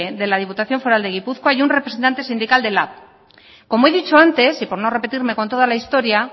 de la diputación foral de gipuzkoa y un representante sindical de lab como he dicho antes y por no repetirme con toda la historia